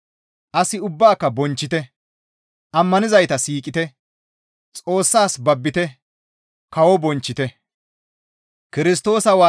As ubbaaka bonchchite; ammanizayta siiqite; Xoossas babbite; kawo bonchchite.